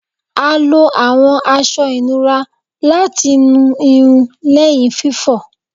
A lo awọn aṣọ inura lati mu irun lẹhin fifọ